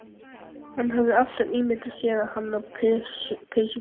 Hann hafði alltaf ímyndað sér hana á peysufötum